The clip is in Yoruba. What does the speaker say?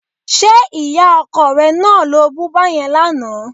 Ṣé ìyá ọkọ rẹ náà lo bú báyẹn lánàá?